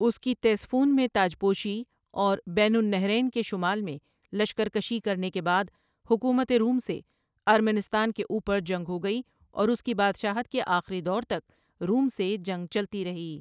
اس کی تیسفون میں تاچ پوشی اور بین النہرین کے شمال میں لشکرکشی کرنے کے بعد حکومت روم سے ارمنستان کے اوپر جنگ ہوگئی اور اس کی بادشاہت کے آخری دور تک روم سے جنگ چلتی رہی ۔